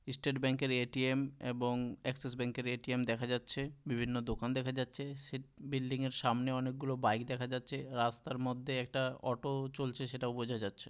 Estate Bank এর A T M.. এবং Axis Bank এর এ টি এম.. দেখা যাচ্ছে। বিভিন্ন দোকান দেখা যাচ্ছে। সে বিল্ডিংয়ের সামনে অনেকগুলো বাইক দেখা যাচ্ছে রাস্তার মধ্যে একটা অটো ও চলছে সেটাও বোঝা যাচ্ছে।